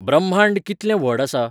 ब्रम्हांण्ह कितलें व्हड आसा?